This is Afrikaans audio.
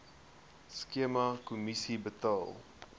skema kommissie betaal